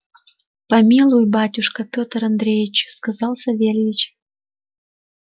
помилуй батюшка петр андреич сказал савельич